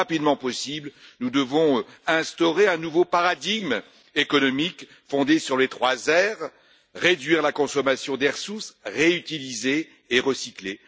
Le plus rapidement possible, nous devons instaurer un nouveau paradigme économique fondé sur les 3 R réduire la consommation des ressources, réutiliser et recycler.